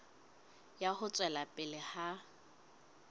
ya ho tswela pele ha